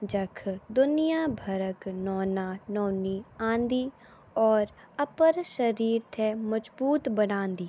जख दुनिया भरक नौना नौनी आंदी और अपर शरीर थे मज्बोत बनादी।